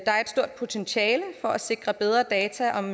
der er et stort potentiale for at sikre bedre data om